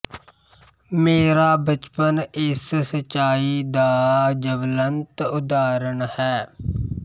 ਮੇਰਾ ਬਚਪਨ ਇਸ ਸੱਚਾਈ ਦਾ ਜਵਲੰਤ ਉਦਾਹਰਣ ਹੈ